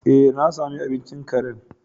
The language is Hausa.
Eh, na sami abincin karen.